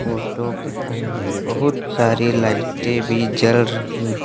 photo के अंदर बहुत सारी लाइटें भी जल रही--